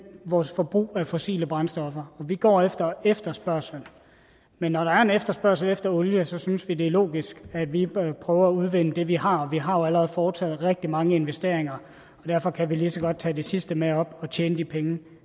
vores forbrug af fossile brændstoffer og vi går efter efterspørgslen men når der er en efterspørgsel efter olie synes vi det er logisk at vi bør prøve at udvinde det vi har vi har jo allerede foretaget rigtig mange investeringer og derfor kan vi lige så godt tage det sidste med op og tjene de penge